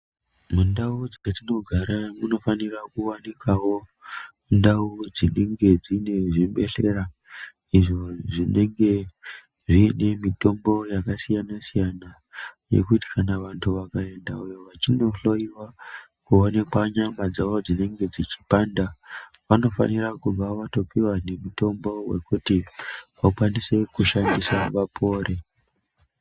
Mundau dzetinogara munofanira kuwanikawo ndau dzinenge dzine zvibhedhleya izvo zvinenge zviine mitombo yakasiyana siyana yekuti kana vantu vakaenda vachindohloyiwa kuonekwa nyama dzavo dzinenge dzichipanda vanofanira kubva vatopiwa nemitombo yekuti vakwanise kushandisa vapore.